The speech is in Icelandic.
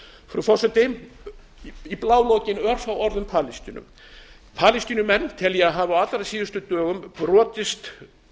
frú forseti í blálokin örfá orð um palestínu palestínumenn tel ég að hafi á allra síðustu dögum brotist